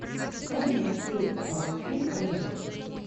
можно мне найти фильм универ